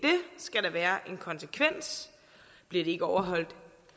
skal der være en konsekvens bliver de ikke overholdt